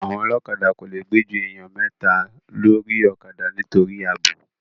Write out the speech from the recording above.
Àwọn ọlọ́kadà kò le gbé ju èèyàn mẹ́ta lórí ọ̀kadà nítorí ààbò